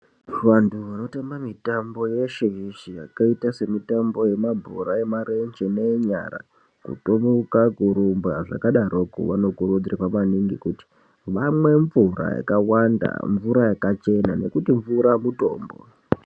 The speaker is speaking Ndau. Vanhu vanotamba mitambo yeshe yeshe yakaita semitambo yemabhora emarenje neenyara , kuturuka , kurumba zvakadarokwo vanokurudzirwa maningi kuti vamwe mvura yakawanda mvura yakachena nekuti mvura mutombo.